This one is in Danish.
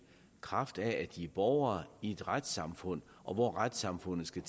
kraft af at de er borgere i et retssamfund hvor retssamfundet skal